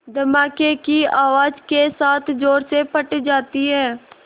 धमाके की आवाज़ के साथ ज़ोर से फट जाती है